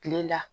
Kile la